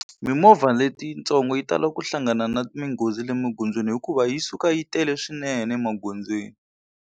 Mimovha letitsongo yi talaka ku hlangana na minghozi le magondzweni hikuva yi suka yi tele swinene emagondzweni.